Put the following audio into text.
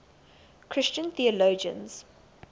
christian theologians